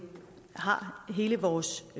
har hele vores